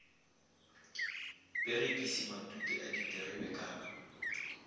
perekisi matute a diterebe ka